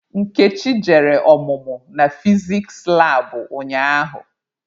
Nkechi jere ọmụmụ na fiziks labụ ụnyaahụ.